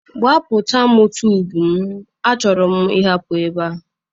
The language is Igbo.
Gbapụta m tube m, achọrọ m ịhapụ ebe a.